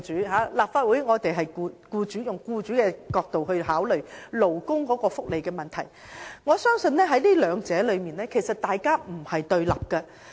在立法會，我們以僱主的角度考慮勞工福利問題，但我相信兩者其實並非對立的。